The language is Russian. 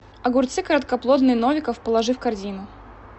огурцы короткоплодные новиков положи в корзину